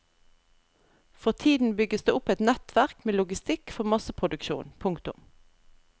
For tiden bygges det opp et nettverk med logistikk for masseproduksjon. punktum